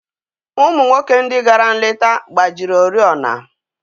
Ụmụ nwoke ndị gara nleta gbajiri oriọna.